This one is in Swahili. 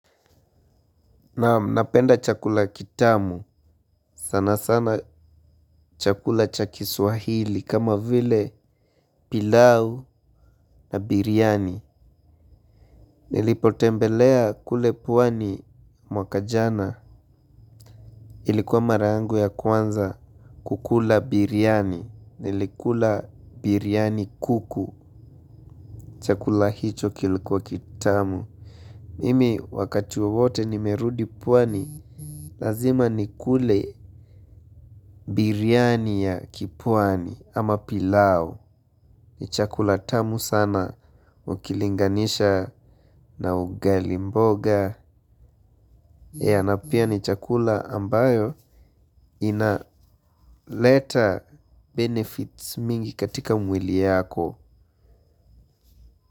Nam napenda chakula kitamu, sana sana. Chakula cha kiswahili kama vile pilau na biryani nilipotembelea kule pwani mwaka jana ilikuwa mara yangu ya kwanza kukula biryani, nilikula biryani kuku. Chakula hicho kilikuwa kitamu. Mimi wakati wawote nimerudi pwani lazima nikule biryani ya kipwani ama pilau ni chakula tamu sana ukilinganisha na ugali mboga. Ea na pia ni chakula ambayo inaleta benefits mingi katika mwili yako.